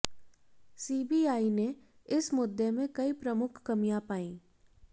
CBI ने इस मुद्दे में कई प्रमुख कमियां पाई